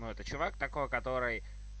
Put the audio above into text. это чувак такой который